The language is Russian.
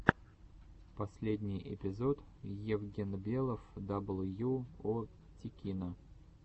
последний эпизод евгенбелов дабл ю о тикино